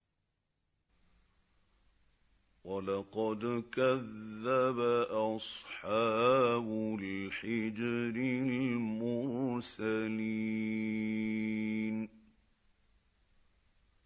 وَلَقَدْ كَذَّبَ أَصْحَابُ الْحِجْرِ الْمُرْسَلِينَ